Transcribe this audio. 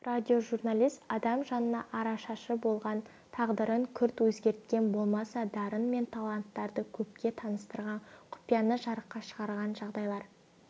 радиожурналист адам жанына арашашы болған тағдырын күрт өзгерткен болмаса дарын мен таланттарды көпке таныстырған құпияны жарыққа шығарған жағдайлар